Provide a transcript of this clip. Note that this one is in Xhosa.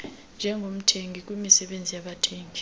njengomthengi kwimisebenzi yabathengi